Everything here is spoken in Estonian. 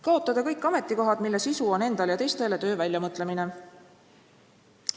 Kaotada kõik ametikohad, mille sisu on endale ja teistele töö väljamõtlemine.